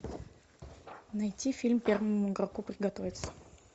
найти фильм первому игроку приготовиться